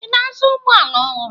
Ị na-azụ ụgbọala ọhụrụ?